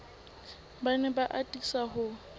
ba ne ba atisa ho